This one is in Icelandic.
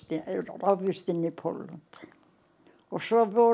ráðist inn í Pólland og svo vorum